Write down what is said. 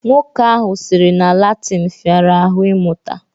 Nwoke ahụ sịrị na Latịn fịara ahụ ịmụta